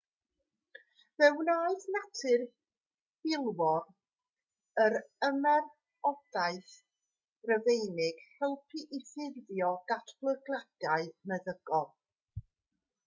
fe wnaeth natur filwrol yr ymerodraeth rufeinig helpu i ffurfio datblygiadau meddygol